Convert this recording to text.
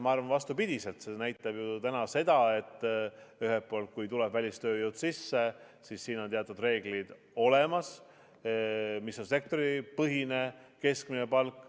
Ma arvan, et vastupidi, see näitab täna ühelt poolt seda, et kui tuleb välistööjõud sisse, siis meil on teadmine olemas, mis on sektoripõhine keskmine palk.